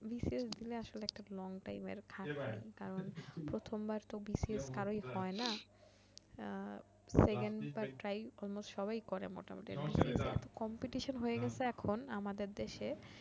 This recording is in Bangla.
BCS দিলে আসলে এইটা long time এর কারণ প্রথমবার তো BCS কারোই হয় না আর second বার try almost সবাই এই করে মোটামুটি এত compitistion হয়ে গেছে এখন আমাদের দেশে